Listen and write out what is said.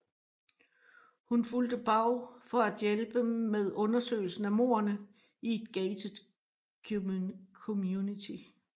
Hun fulgte BAU for at hjælpe med undersøgelsen af mordene i et gated community